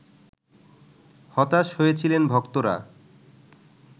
হতাশ হয়েছিলেন ভক্তরা